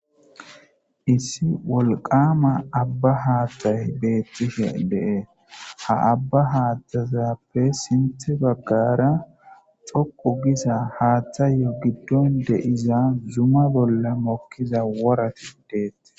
Issi wolqama abba haattay beettishe de'es ;ha abba haaththazappe sinththe baggara xoqu giza haaththayo giddon de'iza zuma bolla mokkiza worati deettes.